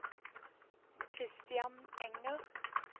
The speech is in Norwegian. Kristian Enger